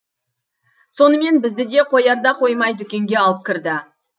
сонымен бізді де қоярда қоймай дүкенге алып кірді